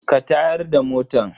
Ka tayar da motan?